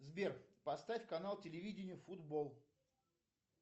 сбер поставь канал телевидение футбол